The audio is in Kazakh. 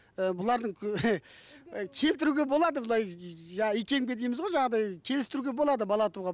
і бұлардың ы келтіруге болады былай икемге дейміз ғой жаңағыдай келістіруге болады бала тууға